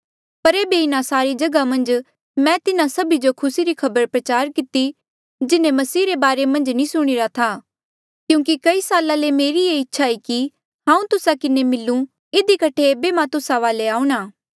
पर एेबे इन्हा सारी जगहा मन्झ मैं तिन्हा सभी जो खुसी री खबर प्रचार किती जिन्हें मसीह रे बारे मन्झ नी सुणीरा था क्यूंकि कई साल्ला ले मेरी येह इच्छा ई कि हांऊँ तुस्सा किन्हें मिलू इधी कठे ऐबे मां तुस्सा वाले आऊंणा